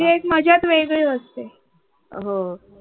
त्याचे एक मजाच वेगळी असते.